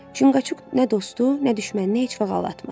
Çinqaçuk nə dostu, nə düşməni heç vaxt aldatmaz.